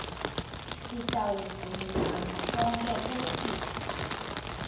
sitawuvumelana sonkhe kutsi